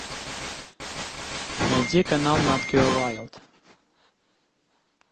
найди канал нат гео вайлд